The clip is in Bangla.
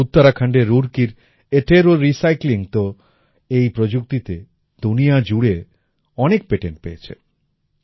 উত্তরাখণ্ডের রুরকির এটেরো রিসাইক্লিং আত্তেরও রিসাইক্লিং তো এই প্রযুক্তিতে দুনিয়া জুড়ে অনেক পেটেন্ট পেয়েছে